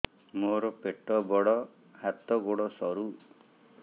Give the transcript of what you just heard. ମୋର ପେଟ ବଡ ହାତ ଗୋଡ ସରୁ